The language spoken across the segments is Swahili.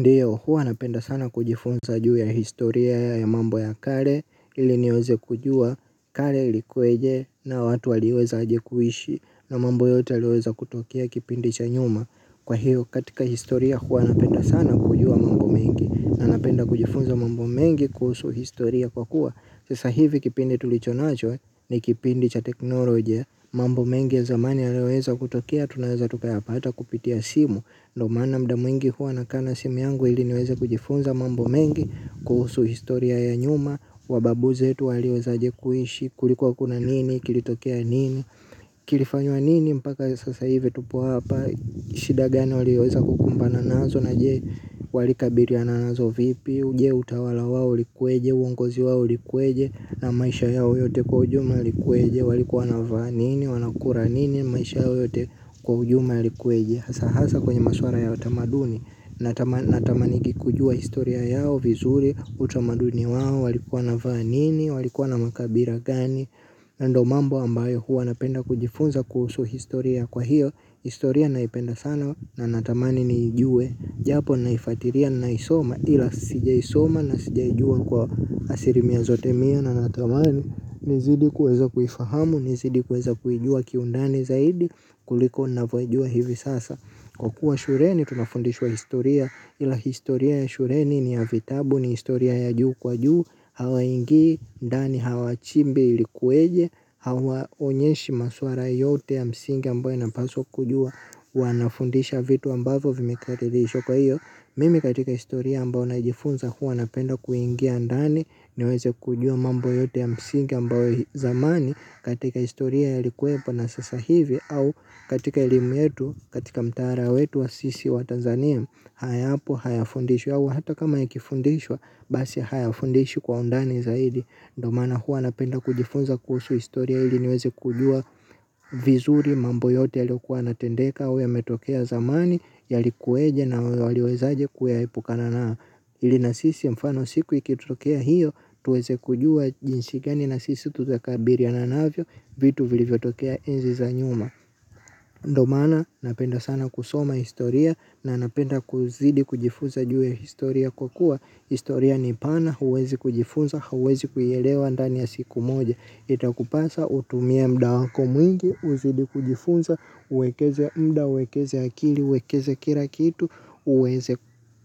Ndiyo huwa napenda sana kujifunza juu ya historia ya mambo ya kale ili niweze kujua, kale ilikuweje na watu waliweza aje kuishi na mambo yote yaliyoweza kutokea kipindi cha nyuma. Kwa hiyo katika historia huwa napenda sana kujua mambo mengi na napenda kujifunza mambo mengi kuhusu historia kwa kuwa. Sasa hivi kipindi tulicho nacho ni kipindi cha teknolojia mambo mengi ya zamani yaliyoweza kutokea, tunaweza tukapata kupitia simu ndio maana muda mwingi huwa nakaa na simu yangu ili niweze kujifunza mambo mengi kuhusu historia ya nyuma, wababu zetu waliweza aje kuishi, kulikuwa kuna nini, kilitokea nini kilifanywa nini mpaka sasa hivi tupo hapa shida gani walioweza kukumbana nazo na je walikabiliana nazo vipi je utawala wao ulikuweje, uongozi wao ulikuweje na maisha yao yote kwa ujumla yalikuweje walikuwa wanavaa nini, wanakula nini maisha yao yote kwa ujumla yalikuweje hasa kwenye maswala ya utamaduni. Natamanigi kujua historia yao vizuri utamaduni wao walikuwa wanavaa nini walikuwa na makabila gani ndio mambo ambayo huwa napenda kujifunza kuhusu historia kwa hiyo, historia naipenda sana na natamanini niijue japo naifuatilia ninaisoma ila sijaisoma na sijaijua kwa asili mia zote mia na natamani nizidi kuweza kuifahamu, nizidi kuweza kuijua kiundani zaidi kuliko ninavyoijua hivi sasa kwa kuwa shuleni tunafundishwa historia ila historia ya shuleni ni ya vitabu ni historia ya juu kwa juu. Hawaingii, ndani hawachimbi ilikuweje, hawaonyeshi maswala yote ya msingi ambayo inapaswa kujua wanafundisha vitu ambavyo vimekadirishwa kwa hiyo mimi katika historia ambayo najifunza huwa napenda kuingia ndani niweze kujua mambo yote ya msingi ambayo zamani katika historia yalikuwepo na sasa hivi au katika elimu yetu katika mtaala wetu wa sisi wa Tanzania hayapo hayafundishwi au hata kama yakifundishwa basi hayafundishwi kwa undani zaidi ndo maana huwa napenda kujifunza kuhusu historia ili niweze kujua vizuri mambo yote yaliyokuwa yanatendeka au yametokea zamani, yalikuweje na waliwezaje kuyaepukana nayo. Ili na sisi mfano siku ikitokea hiyo, tuweze kujua jinsi gani na sisi tutakabiliana navyo, vitu vilivyotokea enzi za nyuma. Ndo maana, napenda sana kusoma historia, na napenda kuzidi kujifunza juu ya historia kwa kuwa. Historia ni pana, huwezi kujifunza, huwezi kuielewa ndani ya siku moja. Itakupasa utumie muda wako mwingi uzidi kujifunza uwekeze muda, uwekeze akili uwekeze kila kitu uweze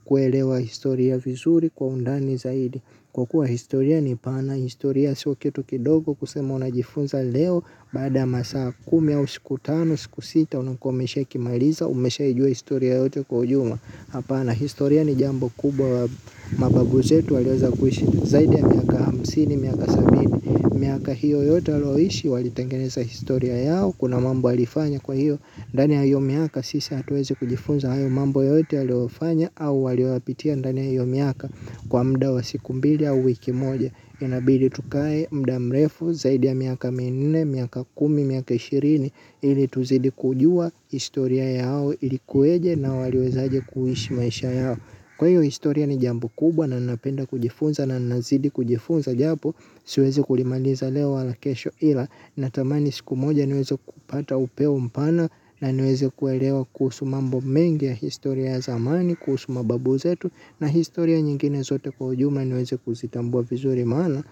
kuelewa historia vizuri kwa undani zaidi kwa kuwa historia ni pana, historia sio kitu kidogo kusema unajifunza leo, baada masaa kumi au siku tano, siku sita, unakuwa umeshakimaliza, umeshaijua historia yote kwa ujumla hapana historia ni jambo kubwa mababu zetu waliweza kuishi zaidi ya miaka hamsini miaka sabini miaka hiyo yote walioishi walitengeneza historia yao kuna mambo walifanya kwa hiyo ndani ya hiyo miaka sisi hatuwezi kujifunza hayo mambo yote waliofanya au walioyapitia ndani ya hiyo miaka kwa muda wa siku mbili au wiki moja inabidi tukae muda mrefu zaidi ya miaka minne, miaka kumi, miaka ishirini ili tuzidi kujua historia yao ilikuweje na waliwezaje kuishi maisha yao kwa hiyo historia ni jambo kubwa na napenda kujifunza na nazidi kujifunza japo siwezi kulimaliza leo wala kesho ila natamani siku moja niweze kupata upeo mpana na niweze kuelewa kuhusu mambo mengi ya historia ya zamani kuhusu mababu zetu na historia nyingine zote kwa ujumla niweze kuzitambua vizuri maana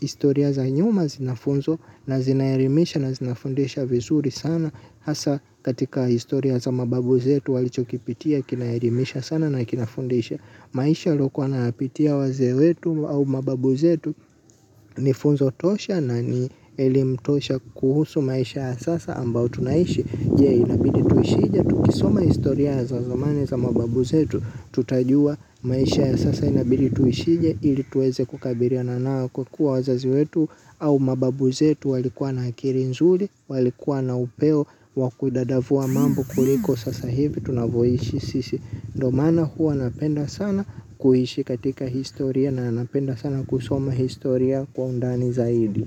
historia za nyuma zinafunzwa na zinaelimisha na zinafundisha vizuri sana hasa katika historia za mababu zetu walichokipitia kinaelimisha sana na kinafundisha maisha waliokuwa wanayapitia wazee wetu au mababu zetu ni funzo tosha na ni elimu tosha kuhusu maisha ya sasa ambayo tunaishi. Je inabidi tuishije. Tukisoma historia ya za zamani za mababu zetu. Tutajua maisha ya sasa inabili tuishije. Ili tuweze kukabiliana nayo kwa kuwa wazazi wetu. Au mababu zetu walikuwa na akili nzuri. Walikuwa na upeo. Wa kudadavua mambo kuliko sasa hivi. Tunavyoishi sisi. Ndio maana huwa napenda sana kuhishi katika historia. Na napenda sana kusoma historia kwa undani zaidi.